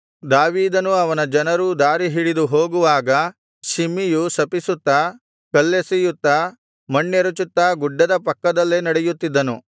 ದಾವೀದನೂ ಅವನ ಜನರೂ ದಾರಿ ಹಿಡಿದು ಹೋಗುವಾಗ ಶಿಮ್ಮಿಯು ಶಪಿಸುತ್ತಾ ಕಲ್ಲೆಸೆಯುತ್ತಾ ಮಣ್ಣೆರೆಚುತ್ತಾ ಗುಡ್ಡದ ಪಕ್ಕದಲ್ಲೇ ನಡೆಯುತ್ತಿದ್ದನು